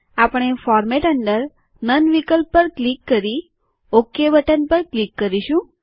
આપણે ફોરમેટ અંદર નન વિકલ્પ પર ક્લિક કરી ઓકે બટન પર ક્લિક કરીશું